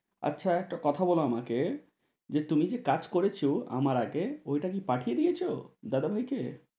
আচ্ছা একটা কথা বলো আমাকে? যে তুমি যে কাজ করেছো আমার আগে ওই টা কি পাঠিয়ে দিয়েছো দাদাভাই কে?